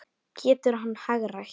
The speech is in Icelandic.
Getur hann hagrætt?